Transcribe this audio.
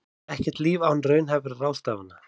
Ekkert líf án raunhæfra ráðstafana